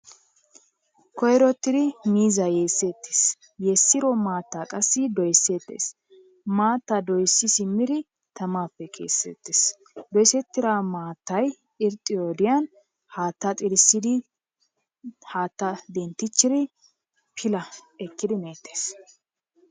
Koyrotidi miizza yessetees. yeessiro maatta qassi doyssetees. Maatta doyssi simidi tammappe kessetees. Doyssettida maattay irxxiyo wodiyaan haatta xillissidi, haatta denttichchidi pilaa ekkidi meettees.